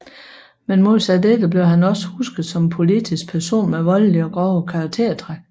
Men modsat dette blev han også husket som en politisk person med voldelige og grove karaktertræk